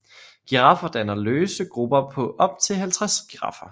Giraffer danner løse grupper på op til 50 giraffer